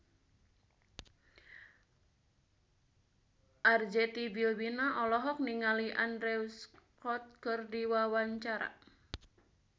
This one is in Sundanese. Arzetti Bilbina olohok ningali Andrew Scott keur diwawancara